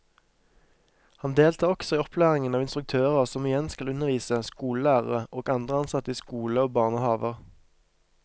Han deltar også i opplæringen av instruktører som igjen skal undervise skolelærere og andre ansatte i skole og barnehaver.